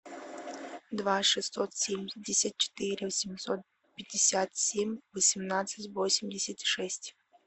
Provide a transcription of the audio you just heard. два шестьсот семьдесят четыре восемьсот пятьдесят семь восемнадцать восемьдесят шесть